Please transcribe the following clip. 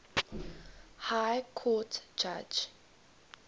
high court judge